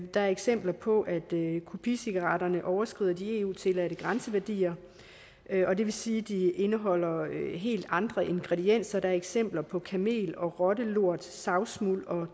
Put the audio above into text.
der er eksempler på at kopicigaretterne overskrider de eu tilladte grænseværdier og det vil sige at de indeholder helt andre ingredienser der er eksempler på kamel og rottelort savsmuld og